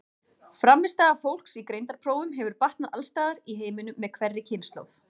Frammistaða fólks í greindarprófum hefur batnað alls staðar í heiminum með hverri kynslóð.